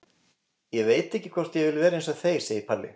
Ég veit ekki hvort ég vil vera eins og þeir, segir Palli.